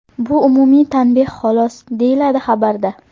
Bu umumiy tanbeh xolos”, deyiladi xabarda.